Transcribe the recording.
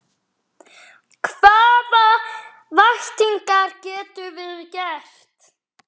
Hvaða væntingar getum við gert?